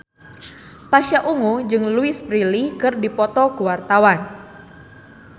Pasha Ungu jeung Louise Brealey keur dipoto ku wartawan